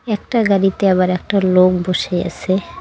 একটা গাড়িতে আবার একটা লোক বসে আছে।